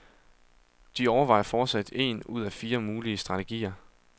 De overvejer fortsat en ud af fire mulige strategier.